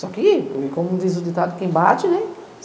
Só que, como diz o ditado, quem bate, né?